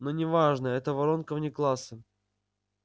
но не важно это воронка вне класса